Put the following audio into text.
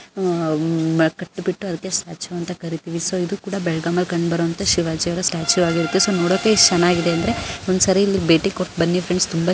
. ಅದಕ್ಕೆ ಸ್ಟ್ಯಾಚು ಅಂತ ಕರೀತೀವಿ ಇದು ಕೂಡ ಬೆಳಗಾವಿಯಲ್ಲಿ ಕಂಡುಬರುವಂತಹ ಶಿವಾಜಿ ಅವರ ಸ್ಟ್ಯಾಚು ಆಗಿರುತ್ತೆ ಸೊ ನೋಡಕೆ ಎಷ್ಟ್ ಚೆನಾಗಿದೆ ಅಂದ್ರೆ ಒಂದ್ಸಲಿ ಭೇಟಿಕೊಟ್ಟ ಬನ್ನಿ ಫ್ರೆಂಡ್ಸ್ --